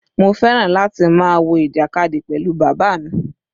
Mo fẹ́ràn láti máa wo ìjàkadì pẹ̀lú bàbá mi.